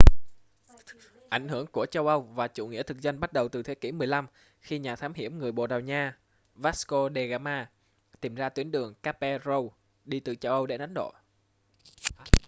ảnh hưởng của châu âu và chủ nghĩa thực dân bắt đầu từ thế kỷ 15 khi nhà thám hiểm người bồ đào nha vasco de gama tìm ra tuyến đường cape route đi từ châu âu đến ấn độ